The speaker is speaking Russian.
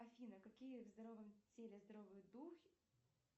афина какие в здоровом теле здоровый дух